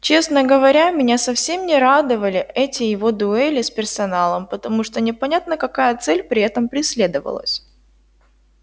честно говоря меня совсем не радовали эти его дуэли с персоналом потому что непонятно какая цель при этом преследовалась